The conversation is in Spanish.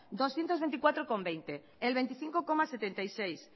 doscientos veinticuatro veinte el veinticinco coma setenta y seis